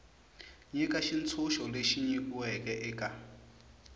nyika xitshunxo lexi nyikiweke eka